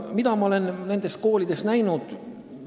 Mida ma olen nendes koolides näinud?